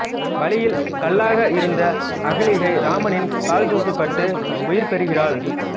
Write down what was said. வழியில் கல்லாக இருந்த அகலிகை இராமனின் கால்தூசு பட்டு உயிர்பெறுகிறாள்